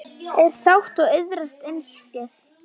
er sátt og iðrast einskis